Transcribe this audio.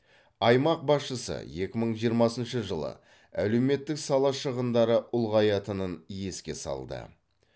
аймақ басшысы екі мың жиырмасыншы жылы әлеуметтік сала шығындары ұлғаятынын еске салды